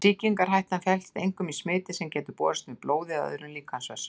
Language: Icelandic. Sýkingarhættan felst einkum í smiti sem getur borist með blóði eða öðrum líkamsvessum.